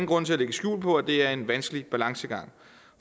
grund til at lægge skjul på at det er en vanskelig balancegang